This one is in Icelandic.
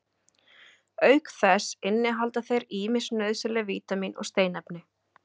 auk þess innihalda þeir ýmis nauðsynleg vítamín og steinefni